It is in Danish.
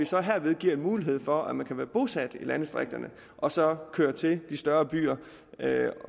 så herved mulighed for at man kan være bosat i landdistrikterne og så køre til de større byer